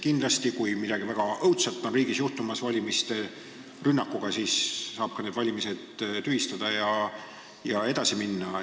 Kindlasti, kui riigis hakkab midagi õudset juhtuma, kui valimisi rünnatakse, siis saab valimised tühistada ja edasi minna.